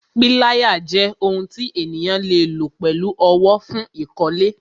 Pilaya jẹ́ ohun tí ènìyàn le lo pẹ̀lú owó, fún ìkọ́lé